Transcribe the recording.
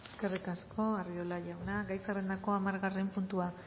eskerrik asko arriola jauna gai zerrendako hamargarren puntua